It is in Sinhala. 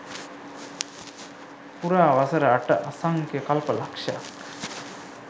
පුරා වසර අට අසංඛ්‍ය කල්ප ලක්ෂයක්